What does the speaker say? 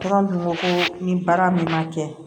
dun ko ni baara min ma kɛ